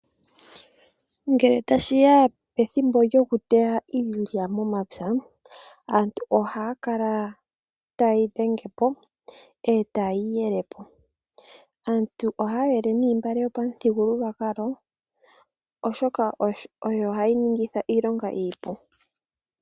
Ngele tashi ya pethimbo lyokuteya iilya momapya, aantu ohaya kala taye yi dhenge po e taye yi yele po. Aantu ohaya yele noontungwa, oshoka odho hadhi ningitha iilonga iipu.